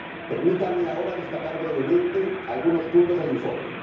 Permítanme ahora destacar brevemente algunos puntos del informe.